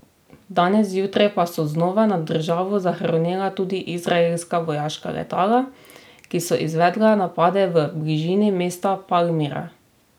Danes zjutraj pa so znova nad državo zarohnela tudi izraelska vojaška letala, ki so izvedla napade v bližini mesta Palmira.